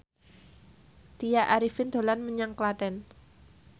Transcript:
Tya Arifin dolan menyang Klaten